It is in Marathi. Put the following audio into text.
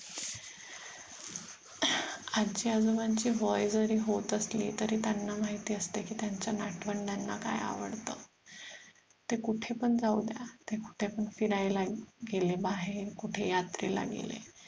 आजी आजोबांची वय जरी होत असली तरी त्यांना माहीती असत की त्यांच्या नातवंडांना काय आवडत ते कुठे पण जाऊद्या ते कुठे पण फिरायला गेले बाहेर कुठे यात्रेला गेले